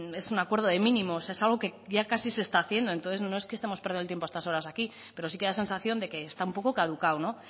es un acuerdo de mínimos es algo casi que ya se está haciendo entonces no es que estemos perdiendo el tiempo a estas horas aquí pero sí que da la sensación de que está un poco caducado